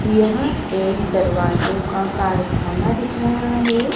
यह एक दरवाजो का कारखाना दिख रहा है।